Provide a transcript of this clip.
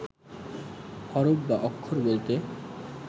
হরফ বা অক্ষর বলতে